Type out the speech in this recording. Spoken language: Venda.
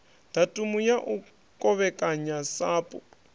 datumu ya u kovhekanya sapu